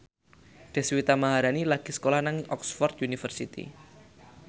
Deswita Maharani lagi sekolah nang Oxford university